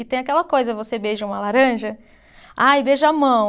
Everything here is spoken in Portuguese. E tem aquela coisa, você beija uma laranja, ah, e beija a mão.